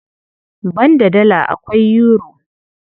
Banda Dala, akwai Yuro.